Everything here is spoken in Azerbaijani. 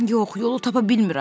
Yox, yolu tapa bilmirəm.